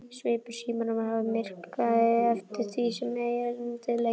Svipur Símonar varð myrkari eftir því sem erindið lengdist.